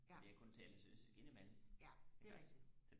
fordi jeg kun taler sønderjysk ind i mellem iggås